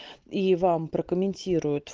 и вам прокомментируют